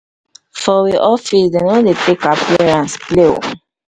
for we we office dem no dey take appearance play o.